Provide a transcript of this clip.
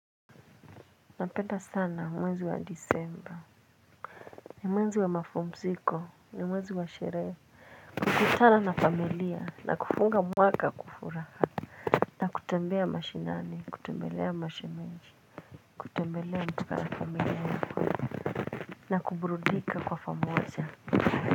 Napenda sana mwezi wa disemba. Ni mwezi wa mapumziko ni mwezi wa sherehe. Kukutana na familia na kufunga mwaka kwa furaha. Na kutembea mashinani kutembelea mashemeji kutembelea mpaka na familia na kuburudika kwa pamoja.